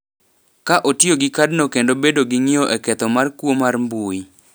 ka otiyo gi kadno kendo bedo gi ng’iyo e ketho mar kuo mar mbui,